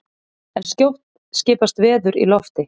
en skjótt skipast veður í lofti!